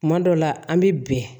Kuma dɔ la an bɛ bɛn